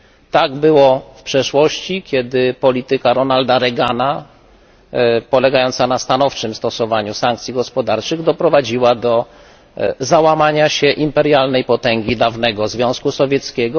Tak było w przeszłości, kiedy polityka Ronalda Reagana, polegająca na stanowczym stosowaniu sankcji gospodarczych, doprowadziła do załamania się do imperialnej potęgi dawnego Związku Sowieckiego.